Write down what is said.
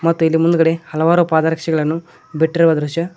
ಮತ್ತು ಇಲ್ಲಿ ಮುಂದ್ಗಡೆ ಹಲವಾರು ಪಾದರಕ್ಷೆಗಳನ್ನು ಬಿಟ್ಟಿರುವ ದೃಶ್ಯ--